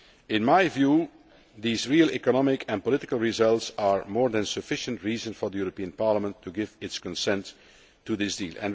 In my view these real economic and political results are more than sufficient reason for the European Parliament to give its consent to this deal.